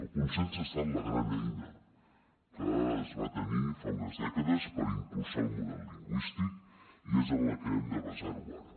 el consens ha estat la gran eina que es va tenir fa unes dècades per impulsar el model lingüístic i és en la que hem de basar ho ara